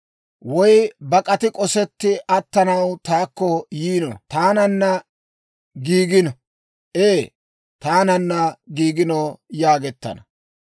Woy bak'ati k'osetti attanaw taakko yiino; taananna giigino; ee, taananna giigino» yaagettana.